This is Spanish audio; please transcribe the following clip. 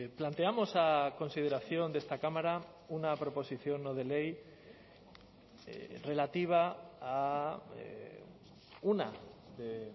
planteamos a consideración de esta cámara una proposición no de ley relativa a una de